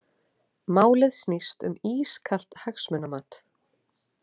Málið snýst um ískalt hagsmunamat